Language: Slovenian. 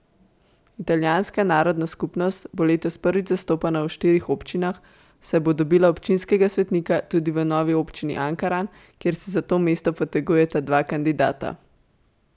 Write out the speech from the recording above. Italijanska narodna skupnost bo letos prvič zastopana v štirih občinah, saj bo dobila občinskega svetnika tudi v novi občini Ankaran, kjer se za to mesto potegujeta dva kandidata.